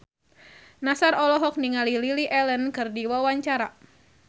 Nassar olohok ningali Lily Allen keur diwawancara